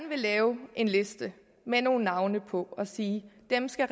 vil lave en liste med nogle navne på og sige at dem skal